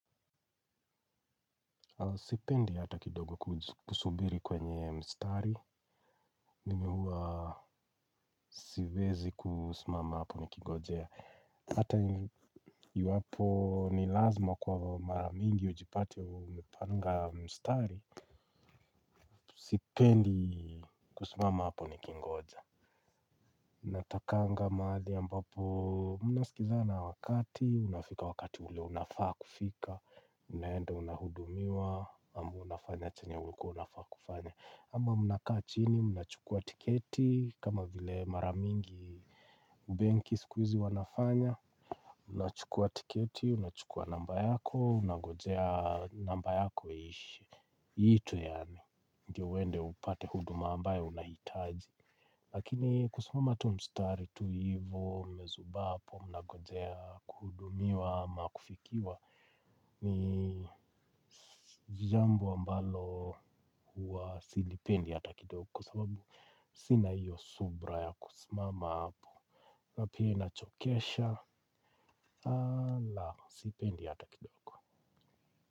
Sipendi hata kidogo kusubiri kwenye mstari. Mimi huwa siwezi kusimama hapo nikingojea. Hata iwapo ni lazima kwa mara mingi ujipate umepanga mstari. Sipendi kusimama hapo nikingoja. Natakanga mahali ambapo mnasikizana wakati. Unafika wakati ule unafaa kufika. Unaenda unahudumiwa. Ama unafanya chenye ulikuwa unafaa kufanya. Ama mnakaa chini, mnachukua tiketi, kama vile mara mingi benki siku hizi wanafanya, mnachukua tiketi, unachukua namba yako, unangojea namba yako iishe. Itwe yaani, ndio uende upate huduma ambayo unahitaji. Lakini kusimama tu mstari tu hivo, mmezubaa hapo, mnangojea, kuhudumiwa, ama kufikiwa, ni jambo ambalo huwa silipendi hata kidogo. Kwa sababu sina hiyo subra ya kusimama hapo. Na pia inachokesha, la, sipendi hata kidogo.